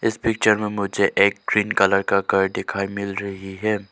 इस पिक्चर में मुझे एक ग्रीन कलर का घर डिखाई मिल रही है।